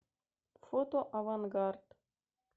фото авангард